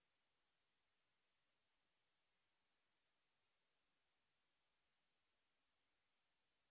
spoken hyphen tutorial dot org slash ন্মেইক্ট hyphen intro আমি অন্তরা এই টিউটোরিয়াল টি অনুবাদ এবং রেকর্ড করেছি